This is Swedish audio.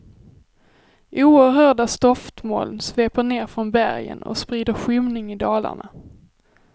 Oerhörda stoftmoln sveper ner från bergen och sprider skymning i dalarna.